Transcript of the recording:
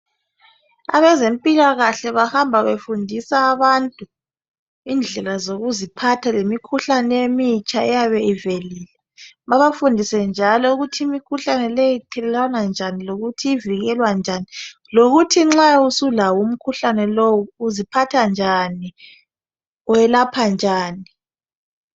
Abezimpilakahle bahamba befundisa abantu indlela zokuziphatha lemikhuhlane emitsha eyabe ivelile babafundise njalo ukuthi imikhuhlane leyi ithelelwana njani lokuthi ivikelwa njani lokuthi nxa usulawo umkhuhlane lowu uziphatha njani uwelapha njani.